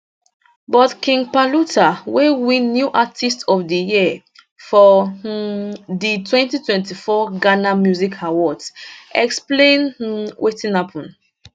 but king paluta wey win new artiste of di year for um di 2024 ghana music awards explain um wetin happun